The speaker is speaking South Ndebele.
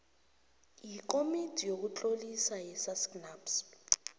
yikomiti yokutlolisa yesacnasp